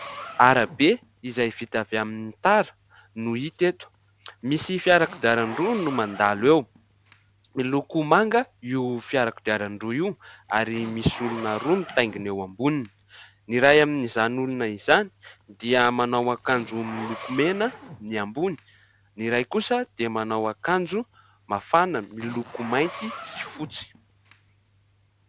Arabe izay vita avy amin'ny tara no hita eto ; misy fiarakodiarandroa no mandalo eo, miloko manga io fiarakodiarandroa io ary misy olona roa mitaingina eo amboniny : ny iray amin'izany olona izany dia manao akanjo miloko mena ny ambony, ny iray kosa dia manao akanjo mafana miloko mainty sy fotsy.